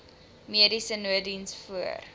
mediese nooddiens voor